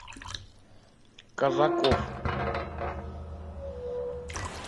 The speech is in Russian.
казаков